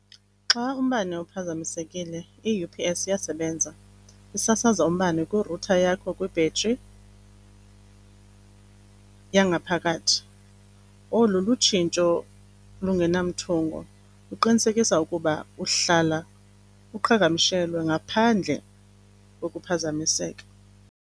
Xa umbane uphazamisekile i-U_P_S iyasebenza. Isasaza umbane kwi-router yakho kwi-battery yangaphakathi. Olu lutshintsho lungenamthungo luqinisekisa ukuba uhlala uqhagamshelwe ngaphandle kokuphazamiseka.